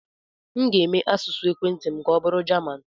M ga-eme asụsụ ekwentị m ka ọbụrụ Jaman.